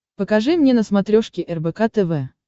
покажи мне на смотрешке рбк тв